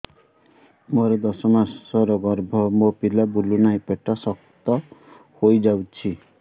ମୋର ଦଶ ମାସର ଗର୍ଭ ମୋ ପିଲା ବୁଲୁ ନାହିଁ ପେଟ ଶକ୍ତ ହେଇଯାଉଛି